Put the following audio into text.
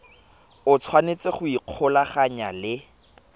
o tshwanetse go ikgolaganya le